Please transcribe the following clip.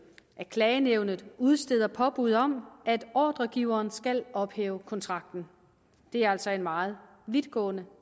at klagenævnet udsteder påbud om at ordregiveren skal ophæve kontrakten det er altså en meget vidtgående